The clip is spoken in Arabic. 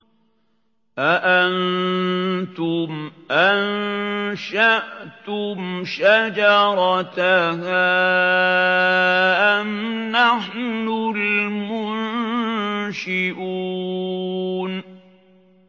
أَأَنتُمْ أَنشَأْتُمْ شَجَرَتَهَا أَمْ نَحْنُ الْمُنشِئُونَ